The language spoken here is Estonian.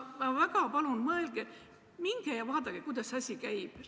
Ma väga palun, mõelge ning minge ja vaadake, kuidas see asi käib.